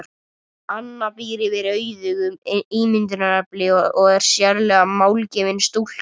Anna býr yfir auðugu ímyndunarafli og er sérlega málgefin stúlka.